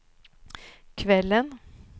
kvällen